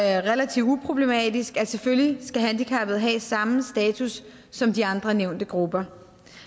er relativt uproblematisk at selvfølgelig skal handicappede have samme status som de andre nævnte grupper